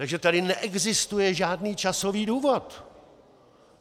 Takže tady neexistuje žádný časový důvod!